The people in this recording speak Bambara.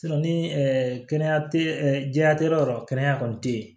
ni kɛnɛya tɛ jɛya tɛ yɔrɔ yɔrɔ kɛnɛya kɔni tɛ ye